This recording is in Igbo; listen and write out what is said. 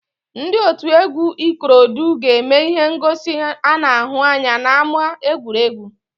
Ndị otu egwu ikorodu ga-eme ihe ngosi ana ahụ anya n'ámá egwuregwu